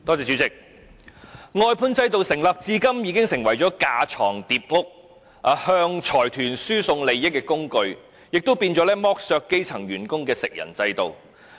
主席，外判制度成立至今已成為架床疊屋、向財團輸送利益的工具，亦淪為剝削基層員工的食人制度。